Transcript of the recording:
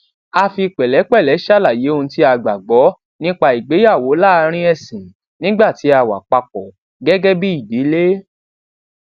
a fi pèlépèlé ṣàlàyé ohun tí a gbàgbó nípa ìgbéyàwó láàárín èsìn nígbà tí a wà papò gégé bí ìdílé